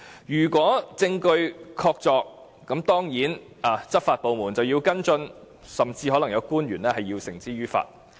如果證據確鑿，執法部門當然要跟進，甚至可能有官員要被繩之於法。